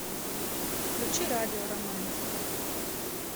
включи радио романтика